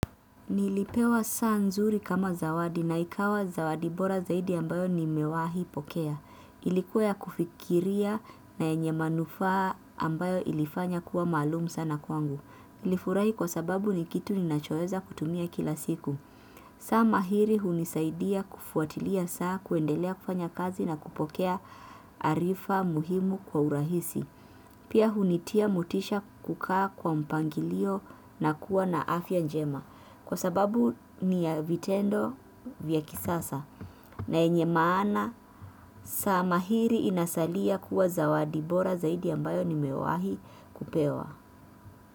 Nilipewa saa nzuri kama zawadi na ikawa zawadi bora zaidi ambayo nimewahi pokea. Ilikuwa ya kufikiria na yenye manufaa ambayo ilifanya kuwa maalum sana kwangu. Nilifurahi kwa sababu ni kitu ninachoweza kutumia kila siku. Saa mahiri hunisaidia kufuatilia saa, kuendelea kufanya kazi na kupokea arifa muhimu kwa urahisi. Pia hunitia motisha kukaa kwa mpangilio na kuwa na afya njema. Kwa sababu ni vitendo vya kisasa na yenye maana, saa mahiri inasalia kuwa zawadi bora zaidi ambayo nimewahi kupewa.